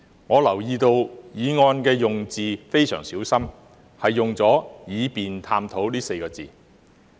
我留意到議案的用字非常小心，用了"以便探討"這4個字。